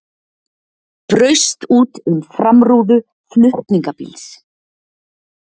Braust út um framrúðu flutningabíls